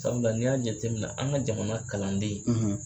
Sabula n'i y'a jate minɛ an ka jamana kalanden